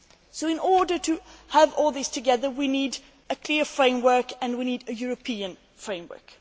So, in order to have all this together, we need a clear framework and we need a European framework.